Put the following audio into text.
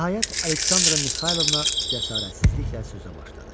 Nəhayət Aleksandra Mixaylovna cəsarətsizliklə sözə başladı.